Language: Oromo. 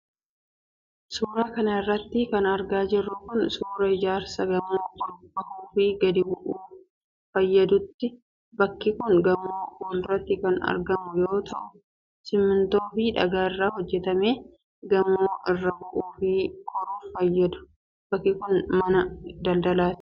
Suura kana irratti kan argaa jirru kun ,suura ijaarsa gamoo ol bahuu fi gadi bu'uuf fayyaduuti. Bakki kun gamoo fuulduratti kan argamu yoo ta'u, simiintoo fi dhagaa irraa hojjatamee gamoo irraa bu'uu fi koruuf fayyadu. Bakki kun, mana daldalaati